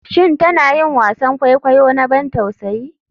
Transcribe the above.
Shin tana yin wasan kwaikwayo na ban tausayi?